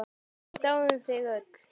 Við dáðum þig öll.